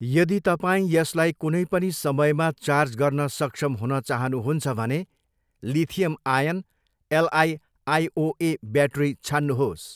यदि तपाईँ यसलाई कुनै पनि समयमा चार्ज गर्न सक्षम हुन चाहनुहुन्छ भने lithium ion, LI IOA battery छान्नुहोस्।